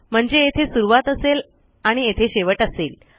म्हणजे येथे सुरूवात असेल आणि येथे शेवट असेल